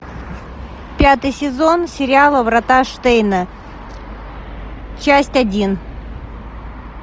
пятый сезон сериала врата штейна часть один